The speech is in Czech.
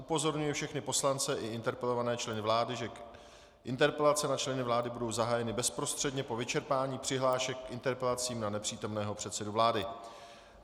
Upozorňuji všechny poslance i interpelované členy vlády, že interpelace na členy vlády budou zahájeny bezprostředně po vyčerpání přihlášek k interpelacím na nepřítomného předsedu vlády.